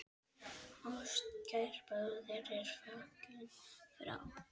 Ástkær bróðir er fallinn frá.